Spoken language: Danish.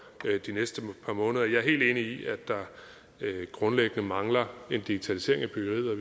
de næste par måneder jeg er helt enig i at der grundlæggende mangler en digitalisering af byggeriet